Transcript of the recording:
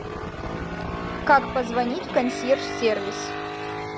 как позвонить в консьерж сервис